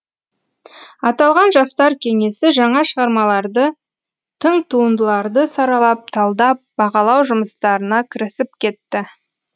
аталған жастар кеңесі жаңа шығармалдарды тың туындыларды саралап талдап бағалау жұмыстарына кірісіп кетті